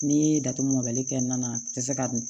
N'i ye datugu mɔbali kɛ na a tɛ se ka dun